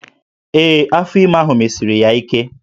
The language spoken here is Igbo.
Ee, afọ ime ahụ mesiri ya ike